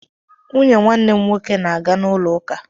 Nwunye nwanne m nwoke na-aga n'ụlọ ụká.